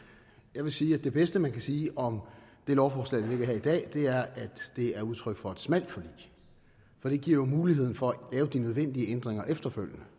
jeg vil sige at det bedste man kan sige om det lovforslag der ligger her i dag er at det er udtryk for et smalt forlig for det giver jo muligheden for at lave de nødvendige ændringer efterfølgende